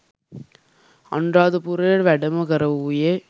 අනුරාධපුරයට වැඩම කරවූයේ